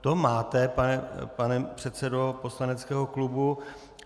To máte, pane předsedo poslaneckého klubu.